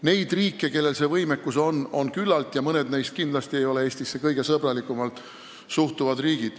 Neid riike, kellel see võimekus on, on küllalt ja mõned neist ei ole kindlasti Eestisse kõige sõbralikumalt suhtuvad riigid.